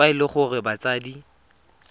fa e le gore batsadi